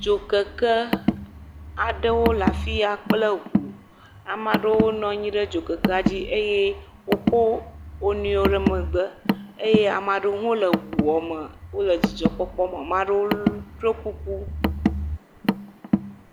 Dzokeke aɖewo le afi ya kple ŋu. Ame aɖewo nɔ anyi ɖe dzokekea dzi eye wokɔ wo nɔewo ɖe megbe eye ame aɖewo hã le eŋua me wole dzidzɔkpɔkpɔ me. Ame aɖewo ɖo kuku.